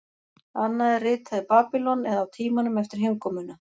Annað er ritað í Babýlon eða á tímanum eftir heimkomuna.